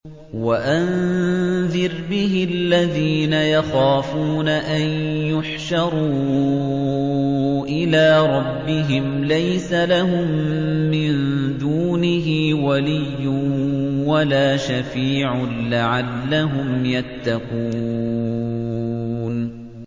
وَأَنذِرْ بِهِ الَّذِينَ يَخَافُونَ أَن يُحْشَرُوا إِلَىٰ رَبِّهِمْ ۙ لَيْسَ لَهُم مِّن دُونِهِ وَلِيٌّ وَلَا شَفِيعٌ لَّعَلَّهُمْ يَتَّقُونَ